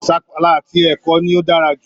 Sapala àti ẹ̀kọ ni ó dára jù